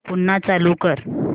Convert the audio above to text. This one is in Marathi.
पुन्हा चालू कर